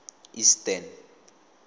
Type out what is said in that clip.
eastern